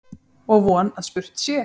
Og von að spurt sé.